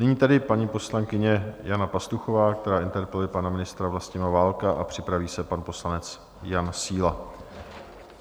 Nyní tedy paní poslankyně Jana Pastuchová, která interpeluje pana ministra Vlastimila Válka, a připraví se pan poslanec Jan Síla.